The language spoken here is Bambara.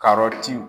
Karɔti